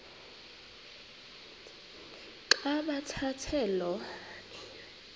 xa bathetha lo